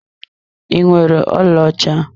Ị nwere ọlaọcha?